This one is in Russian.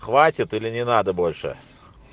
хватит или не надо больше